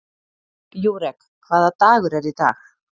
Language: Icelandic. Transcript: Júrek, hvaða dagur er í dag?